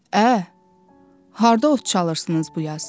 Ə, harda ot çalırsınız bu yaz?